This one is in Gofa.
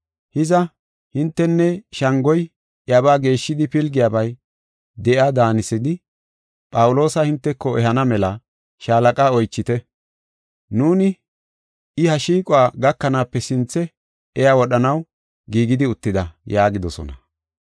Hiza, hintenne shangoy iyabaa geeshshidi pilgiyabay de7iya daanisidi, Phawuloosa hinteko ehana mela shaalaqa oychite. Nuuni I ha shiiquwa gakanaape sinthe iya wodhanaw giigidi uttida” yaagidosona.